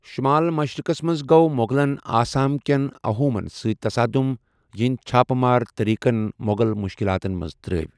شُمال مشرِقس منٛز گوٚو مغلن آسام کیٚن اَحومن سۭتۍ تصادُم ، یِہنٛدِ چھاپ مار طریقن مو٘غل مُشکِلاتن منٛز ترٛٲوِ ۔